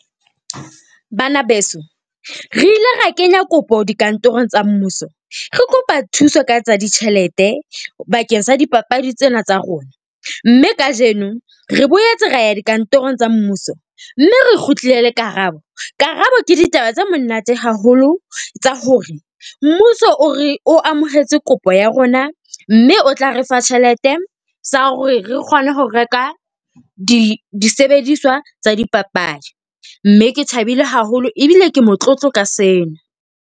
Bana beso, re ile ra kenya kopo dikantorong tsa mmuso. Re kopa thuso ka tsa ditjhelete bakeng sa dipapadi tsena tsa rona, mme kajeno re boetse ra ya dikantorong tsa mmuso, mme re kgutlile le karabo. Karabo ke ditaba tse monate haholo, tsa hore mmuso o re o amohetse kopo ya rona mme o tla re fa tjhelete sa hore re kgone ho reka di disebediswa tsa dipapadi. Mme ke thabile haholo ebile ke motlotlo ka sena.